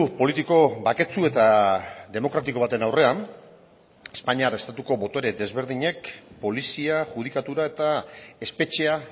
politiko baketsu eta demokratiko baten aurrean espainiar estatuko botere desberdinek polizia judikatura eta espetxea